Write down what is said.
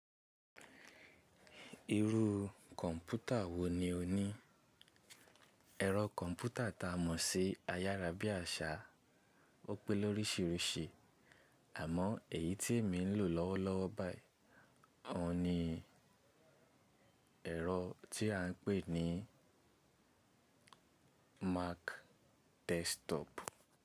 Irú kọ̀ǹpútà wo ni o ní? Ẹ̀rọ kọ̀ǹpútà ta mọ̀ sí ayárábiàsà wọ́n pé lórísirísi àmọ èyí tí èmi ń lò lọ́wọ́lọ́wọ́ báyìí ni ẹ̀rọ tí à ń pè ní Mac desktop.